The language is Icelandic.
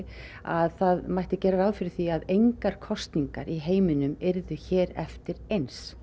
að það mætti gera ráð fyrir því að engar kosningar í heiminum yrðu hér eftir eins